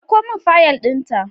Ɗauko min fiyal din ta